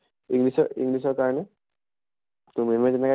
english ৰ english ৰ কাৰণে ma'am যেনেকে